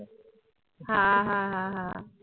হ্যাঁ হ্যাঁ হ্যাঁ হ্যাঁ